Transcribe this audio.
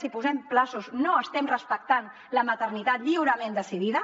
si posem terminis no estem respectant la maternitat lliurement decidida